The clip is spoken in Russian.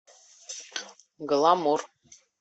гламур